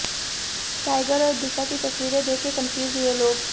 tiger और दिशा की तस्वीरें देखकर कंफ्यूज हुए लोग